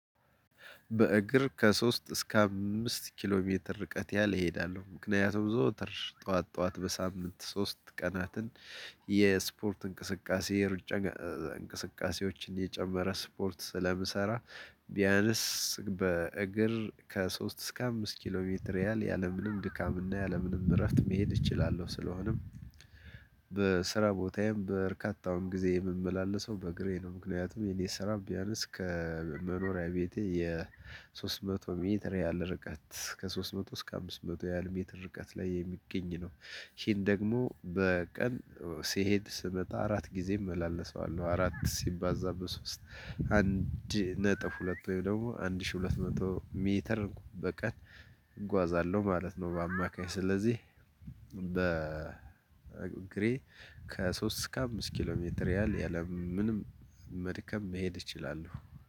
በእግር ከሶስት እስከ አምስት ኪሎ ሜትር ርቀት ያህል እሄዳለሁ ምክንያቱም ዘወትር ጠዋት ጠዋት በሳምንት ሶስት ቀናትን የስፖርት እንቅስቃሴ እንቅስቃሴዎችን የጨመረ ስፖርት ስለምሰራ ቢያንስ በእግር ከሶስት እስከ አምስት ኪሎ ሜትር ያህል ያለምንም ድካምና ያለምንም እረፍት መሄድ እችላለሁ። ስለሆነም በስራ ቦታዬም በርካታውም ጊዜ የምመላለሰው በእግሬ ነው ምክንያቱም የኔ ስራ ቢያነስ ከመኖሪያ ቤቴ የሶስት መቶ ሜትር ያህል ርቀት ከሶስት መቶ እስከ አምስት መቶ ያህል ሜትር ርቀት ላይ የሚገኝ ነው። ይሄን ደግሞ በቀን ሲሄድ ስመጣ አራት ጊዜ እመላለሰዋለሁ አራት ሲባዛ በሶስት አንድ ነጥብ ሁለት ወይም ደግሞ አንድ ሺህ ሁለት መቶ ሜትር በቀን እጓዛለሁ ማለት ነው። በአማካይ ስለዚህ በእግሬ ከሶስት እስከ አምስት ኪሎ ሜትር ያለምንም መድከም መሄድ እችላለሁ።